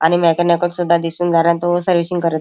आणि मॅकेनिकल सुद्धा दिसुन राहिला आणि तो सर्व्हिसिंग करत--